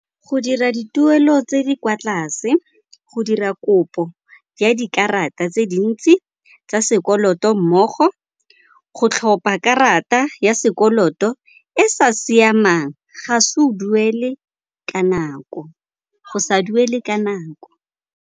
Go dira dituelo tse di kwa tlase, go dira kopo ya dikarata tse dintsi tsa sekoloto mmogo, go tlhopa karata ya sekoloto e sa siamang, go sa duele ka nako.